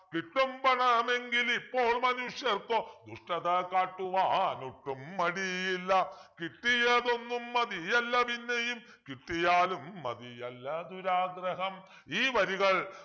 കിട്ടും പണമെങ്കിലിപ്പോൾ മനുഷ്യർക്കു ദുഷ്ടത കാട്ടുവാനൊട്ടും മടിയില്ല കിട്ടിയതൊന്നും മതിയല്ല പിന്നെയും കിട്ടിയാലും മതിയല്ല ദുരാഗ്രഹം ഈ വരികൾ